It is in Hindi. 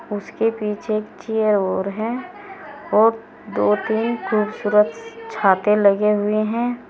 उसके पीछे एक चेयर और है और दो तीन खूबसूरत छाते लगे हुए हैं।